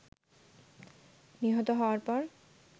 নিহত হওয়ার পর